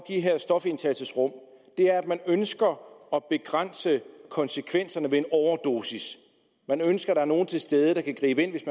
her stofindtagelsesrum er at man ønsker at begrænse konsekvenserne ved en overdosis at man ønsker at der er nogle til stede der kan gribe ind hvis